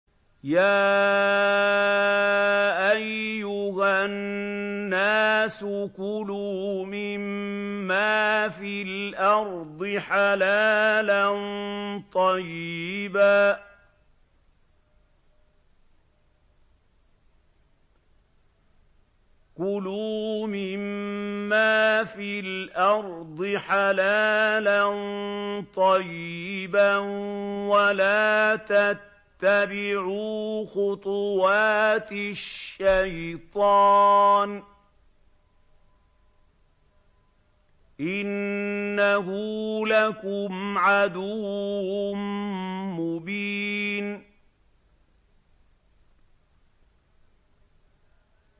يَا أَيُّهَا النَّاسُ كُلُوا مِمَّا فِي الْأَرْضِ حَلَالًا طَيِّبًا وَلَا تَتَّبِعُوا خُطُوَاتِ الشَّيْطَانِ ۚ إِنَّهُ لَكُمْ عَدُوٌّ مُّبِينٌ